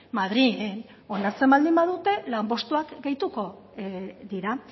madrilen onartzen baldin badute lanpostuak gehituko dira